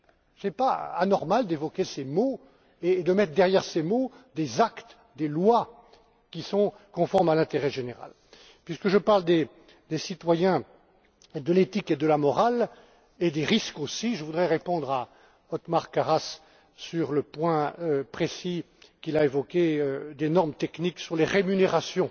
Ce n'est pas anormal d'évoquer ces mots et de mettre derrière ces mots des actes, des lois, qui sont conformes à l'intérêt général. Puisque je parle des citoyens, de l'éthique, de la morale et des risques aussi, je voudrais répondre à Othmar Karas sur le point précis qu'il a évoqué, à savoir les normes techniques sur les rémunérations